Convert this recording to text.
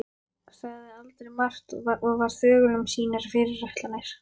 Sagði aldrei margt og var þögul um sínar fyrirætlanir.